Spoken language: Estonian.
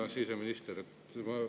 Hea siseminister!